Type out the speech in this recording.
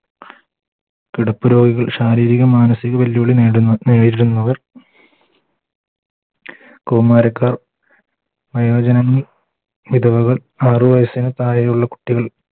കിടപ്പുരോഗികൾ ശാരീരിക മാനസിക വെല്ലുവിളികൾ നേടുന്ന നേരിടുന്നവർ കൗമാരക്കാർ വയോജനങ്ങൾ വിധവകൾ ആറു വയസ്സിനു താഴെയുള്ള കുട്ടികൾ